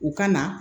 U ka na